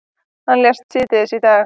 Hann lést síðdegis í dag.